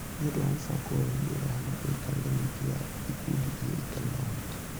Nĩ ũndũ wa mũbango ũyũ, nĩ ũrehaga mĩikarĩre mĩingĩ ya ikundi iria itarĩ na ũhoti.